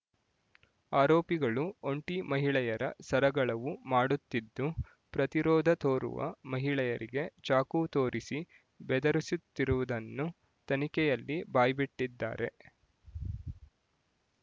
ಆರೋಪಿಗಳು ಒಂಟಿ ಮಹಿಳೆಯರ ಸರಗಳವು ಮಾಡುತ್ತಿದ್ದು ಪ್ರತಿರೋಧ ತೋರುವ ಮಹಿಳೆಯರಿಗೆ ಚಾಕು ತೋರಿಸಿ ಬೆದರಿಸುತ್ತಿರುವುದನ್ನು ತನಿಖೆಯಲ್ಲಿ ಬಾಯ್ಬಿಟ್ಟಿದ್ದಾರೆ